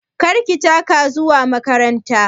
Kar ki taka zuwa makaranta!